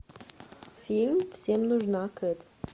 фильм всем нужна кэт